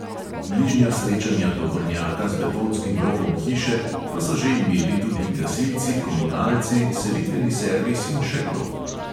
Bližnja srečanja tovornjaka z betonskim robom hiše pa so že imeli tudi gasilci, komunalci, selitveni servis in še kdo.